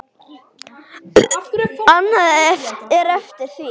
Annað er eftir því.